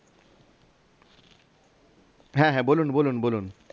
হ্যাঁ হ্যাঁ বলুন বলুন বলুন